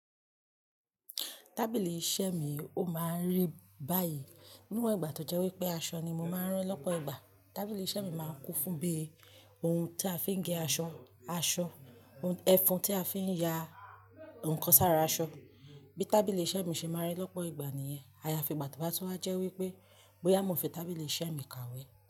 Tábìlì iṣẹ́ mi ó máa ń rí báyìí. Níwọ̀n ìgbà tó jẹ́ wípé aṣọ ni mo máa ń rán lọ́pọ̀ ìgbà, tábìlì iṣẹ́ mi máa ń kún fún bí ohun tí a fi ń gẹ aṣọ, aṣọ, ẹfun tí a fi ń ya ǹkan sára aṣọ. Bí tábìlì iṣẹ́ mi ṣe máa ń rí lọ́pọ̀ ìgbà nìyẹn, àyàfi ìgbà tó bá ti wá jẹ́ wípé bóyá mo ńfi tábìlì iṣẹ́ mi kàwé.